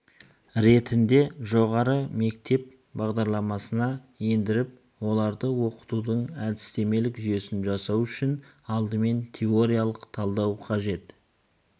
ретінде жоғары мектеп бағдарламасына ендіріп оларды оқытудың әдістемелік жүйесін жасау үшін алдымен теориялық талдау қажет